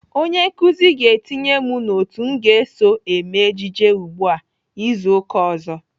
Onye nkụzi ga-etinye m n'otu m ga-eso eme ejije ugbu a izu uka ọzọ.